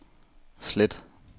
slet